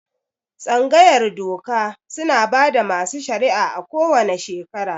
Tsangayar doka suna bada masu shari'a a ko wane shekera